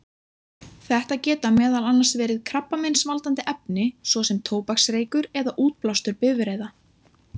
Þetta geta meðal annars verið krabbameinsvaldandi efni, svo sem tóbaksreykur eða útblástur bifreiða.